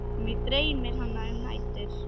Mig dreymir hana um nætur.